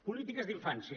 polítiques d’infància